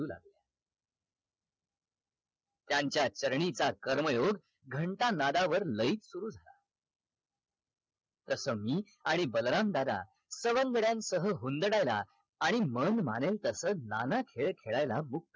त्यांच्या चरणीचा कर्मयोग घंटा नादावर लयीत सुरु झाला तस मी आणि बलराम दादा सवंगड्यांसह हुंदडायला आणि मन मानेल तस नाना खेळ खेळायला मुक्त